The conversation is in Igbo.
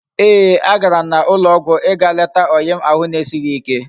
Eeh!! Agaram na ulo ogwu íga leta oyi m ahu na esighi ike